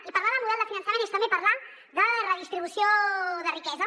i parlar del model de finançament és també parlar de redistribució de riquesa